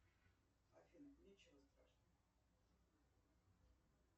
афина ничего страшного